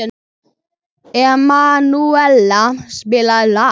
Emanúela, spilaðu lag.